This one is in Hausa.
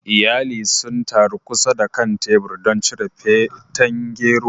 Iyali sun taru kusa da kan tebur don cin feten gero.